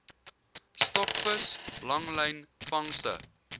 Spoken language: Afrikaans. stokvis langlyn vangste